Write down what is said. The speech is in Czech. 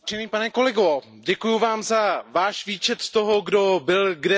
Děkuji vám za váš výčet toho, kdo byl kde zkorumpován.